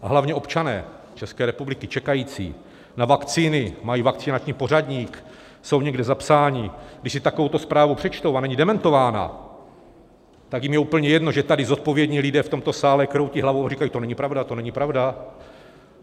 A hlavně občané České republiky čekají na vakcíny, mají vakcinační pořadník, jsou někde zapsáni, když si takovouto zprávu přečtou a není dementována, tak jim je úplně jedno, že tady zodpovědní lidé v tomto sále kroutí hlavou a říkají, to není pravda, to není pravda.